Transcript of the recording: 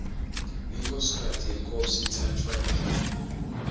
inkhosikati yenkhosi itsatfwa emhlangeni